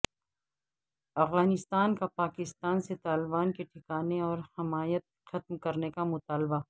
افغانستان کا پاکستان سے طالبان کے ٹھکانے اور حمایت ختم کرنے کا مطالبہ